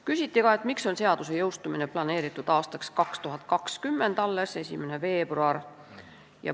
Küsiti ka, miks on seaduse jõustumine planeeritud alles 1. veebruariks aastal 2020.